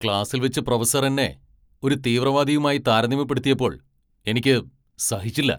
ക്ലാസിൽ വെച്ച് പ്രൊഫസർ എന്നെ ഒരു തീവ്രവാദിയുമായി താരതമ്യപ്പെടുത്തിയപ്പോൾ എനിക്ക് സഹിച്ചില്ല.